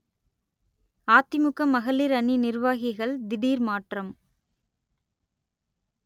அதிமுக மகளிர் அணி நிர்வாகிகள் திடீர் மாற்றம்